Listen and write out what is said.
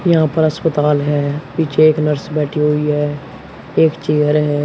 यहां पर अस्पताल है पीछे एक नर्स बैठी हुई है एक चेयर है।